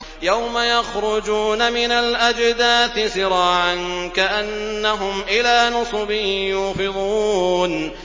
يَوْمَ يَخْرُجُونَ مِنَ الْأَجْدَاثِ سِرَاعًا كَأَنَّهُمْ إِلَىٰ نُصُبٍ يُوفِضُونَ